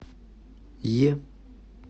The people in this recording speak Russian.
е